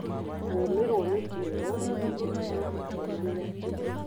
kũmirwo nĩ kĩoro ĩngĩkorwo ĩkĩonania kĩ?